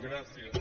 gràcies